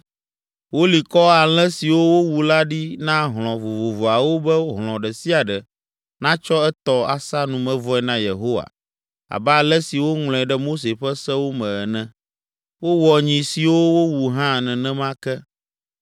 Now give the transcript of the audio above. Woli kɔ alẽ siwo wowu la ɖi na hlɔ̃ vovovoawo be hlɔ̃ ɖe sia ɖe natsɔ etɔ asa numevɔe na Yehowa abe ale si woŋlɔe ɖe Mose ƒe sewo me ene. Wowɔ nyi siwo wowu hã nenema ke.